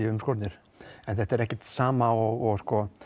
umskornir en þetta er ekkert sama og